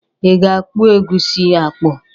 I ga-akpụ egusi a akpụ?